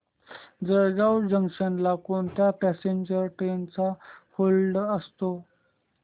Jalgaon junction ला कोणत्या passenger trains चा हॉल्ट असतो